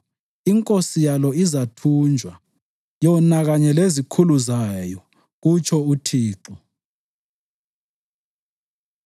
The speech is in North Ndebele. Inkosi yalo izathunjwa, yona kanye lezikhulu zayo,” kutsho uThixo.